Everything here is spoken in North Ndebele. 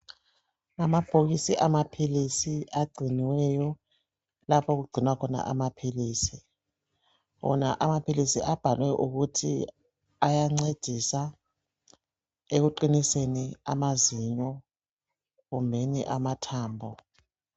Amabhokisi amaphilisi agciniweyo okugcinwa khona amaphilisi wona amaphilisi abhaliwe ukuthi ayancedisa ekuqiniseni amazinyo kumbe amathambo